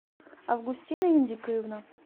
августина индикоевна